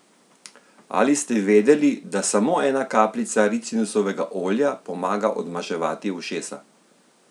Ali ste vedeli, da samo ena kapljica ricinusovega olja pomaga odmaševati ušesa?